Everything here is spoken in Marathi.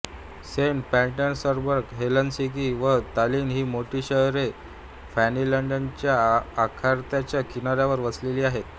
सेंट पीटर्सबर्ग हेलसिंकी व तालिन ही मोठी शहरे फिनलंडच्या आखाताच्या किनाऱ्यावर वसलेली आहेत